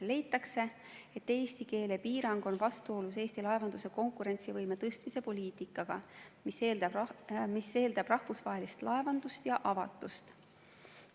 Leitakse, et eesti keele piirang on vastuolus Eesti laevanduse konkurentsivõime tõstmise poliitikaga, mis eeldab rahvusvahelist laevandust ja avatust.